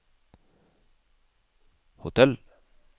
hotell